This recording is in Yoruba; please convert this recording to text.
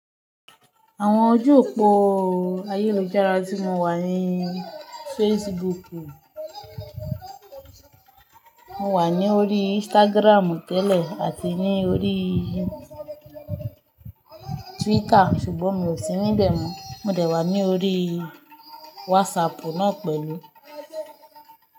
Àwọn ojú òpó ayélujára tí mo wà ni Facebook, mo wà ní orí Instagram tẹ́lẹ̀ àti ní orí Twitter ṣùgbọ́n mi ò sí níbẹ̀ mọ́. Mò dẹ̀ wà ní orí WhatsApp náà pẹ̀lú.